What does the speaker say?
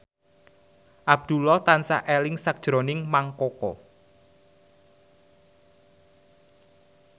Abdullah tansah eling sakjroning Mang Koko